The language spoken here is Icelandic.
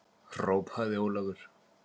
hrópaði Ólafur.